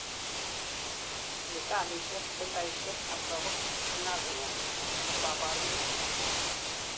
sipitalisiek, centaishek ab lagok ak nursing homes kokabarunet